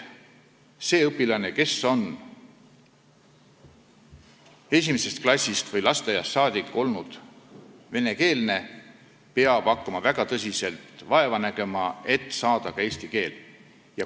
Õpilane, kes on esimesest klassist või lasteaiast saadik olnud venekeelne, peab hakkama väga tõsiselt vaeva nägema, et saada selgeks ka eesti keel.